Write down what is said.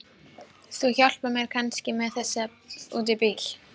Þú hjálpar mér kannski með þessa út í bíl?